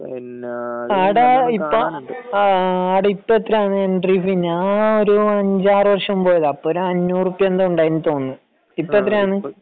പിന്നെ ആട ഇപ്പം എത്രയാണ് എൻട്രീ ഫീ ഞാൻ ഒരു അഞ്ചാറ് വര്ഷം മുൻപ് പോയതാ അപ്പം അഞ്ഞൂറ് ഉറുപ്പിക എന്തോ ഉണ്ടായി എന്ന് തോന്നുന്നു ഇപ്പം എത്രയാണ്